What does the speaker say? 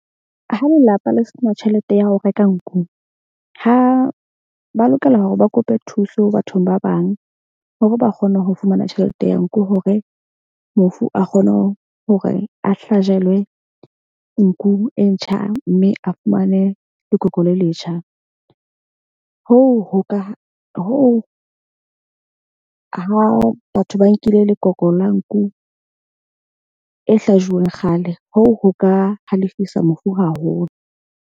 Ha lelapa le sena tjhelete ya ho reka nku ha ba lokela hore ba kope thuso bathong ba bang hore ba kgone ho fumana tjhelete ya nku hore mofu a kgone ho hore a hlajelwe nku e ntjha. Mme a fumane lekoko le letjha. Hoo ho ka hoo ha batho ba nkile lekoko la nku e hlajuweng kgale, hoo ho ka halefisa mofu haholo.